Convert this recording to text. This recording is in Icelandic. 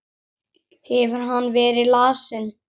Hefur hann verið lasinn?